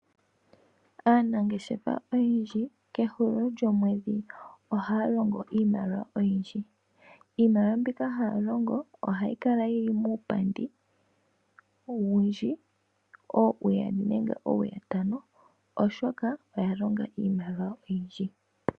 Aanangeshefa oyendji kehulilo lyomwedhi ohaya longo iimaliwa oyindji. Iimaliwa mbika haya longo ohayi kala yili muupandi owundji koowuyali nenge koowutano , oshoka oya longa iimaliwa oyindji.